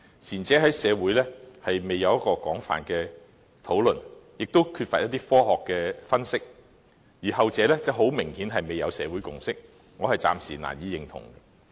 前者在社會未經廣泛討論，亦缺乏科學的分析；而後者很明顯未取得社會共識，我暫時難以認同。